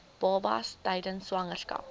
babas tydens swangerskap